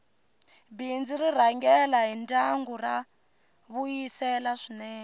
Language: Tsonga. bindzu r rhangela hi ndyangu ra vuyisela swinene